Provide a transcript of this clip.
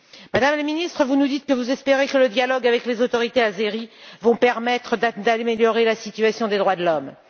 Madame la Ministre, vous nous dites que vous espérez que le dialogue avec les autorités azéries permettra d'améliorer la situation des droits de l'homme.